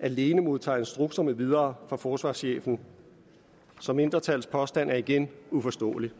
alene modtager instrukser med videre fra forsvarschefen så mindretallets påstand er igen uforståelig